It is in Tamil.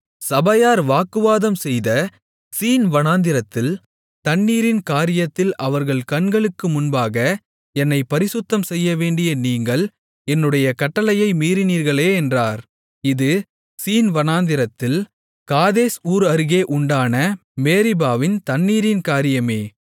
சபையார் வாக்குவாதம்செய்த சீன் வனாந்திரத்தில் தண்ணீரின் காரியத்தில் அவர்கள் கண்களுக்கு முன்பாக என்னைப் பரிசுத்தம்செய்யவேண்டிய நீங்கள் என்னுடைய கட்டளையை மீறினீர்களே என்றார் இது சீன் வனாந்திரத்தில் காதேஸ் ஊர் அருகே உண்டான மேரிபாவின் தண்ணீரின் காரியமே